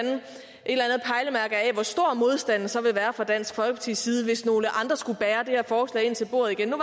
hvor stor modstanden så vil være fra dansk folkepartis side hvis nogle andre skulle bære det her forslag ind til bordet igen